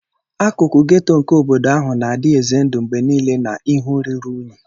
Akụkụ ghetto nke obodo ahụ na-adị ize ndụ mgbe niile na ihe ruru unyi.